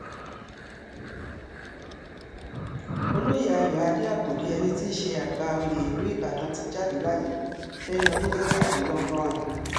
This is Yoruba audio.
olóye ayọ̀adé àkàdé ẹni ti ṣe àgbà oyè ìlú ìbàdàn ti jáde láyé lẹ́ni ọdún mẹ́tàdínlọ́gọ́rin